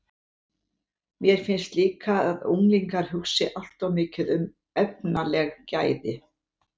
Mér finnst líka að unglingar hugsi allt of mikið um efnaleg gæði.